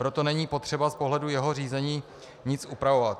Proto není potřeba z pohledu jeho řízení nic upravovat.